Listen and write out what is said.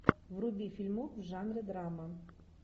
вруби фильмок в жанре драма